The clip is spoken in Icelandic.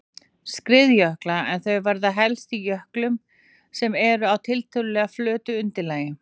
skriðjökla en þau verða helst í jöklum sem eru á tiltölulega flötu undirlagi.